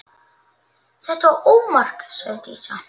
Þetta var ómark, sagði Dísa.